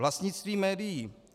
Vlastnictví médií.